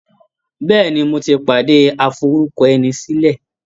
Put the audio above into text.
Bẹ́ẹ̀ni, mo ti pàdé aforúkọẹnisílẹ̀.